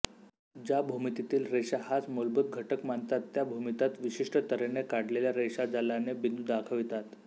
ज्या भूमितीतील रेषा हाच मूलभूत घटक मानतात त्या भूमितात विशिष्ट तऱ्हेने काढलेल्या रेषाजालाने बिंदू दाखवितात